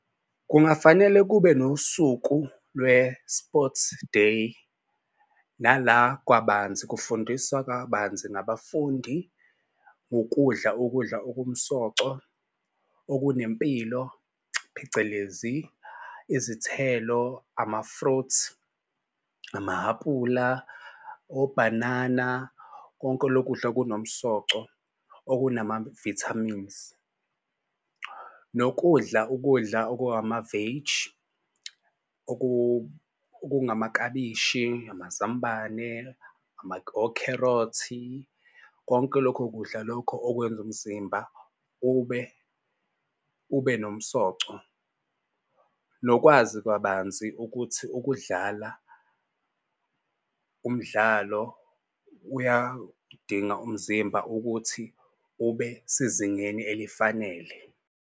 Kungafanele kube nosuku lwe-sports day nala kwabanzi kufundiswa kabanzi ngabafundi ukudla ukudla okumsoco okunempilo phecelezi izithelo, ama-fruit, ama-aphula, obhanana. Konke lokudla okunomsoco, okunama-vitamines nokudla ukudla oku-amaveji, okungamaklabishi, amazambane okherothi. Konke lokho kudla lokho okwenza umzimba ube nomsoco nokwazi kabanzi ukuthi ukudlala umdlalo uyadinga umzimba ukuthi ube sezingeni elifanele.